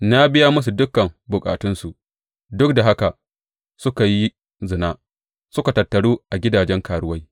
Na biya musu dukan bukatunsu, duk da haka suka yi zina suka tattaru a gidajen karuwai.